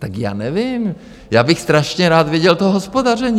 Tak já nevím, já bych strašně rád viděl to hospodaření.